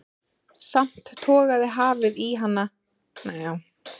Samt togaði hafið í hann og útþráin, þessi stöðuga leit, hélt fyrir honum vöku.